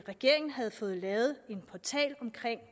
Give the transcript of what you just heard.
regeringen havde fået lavet en portal omkring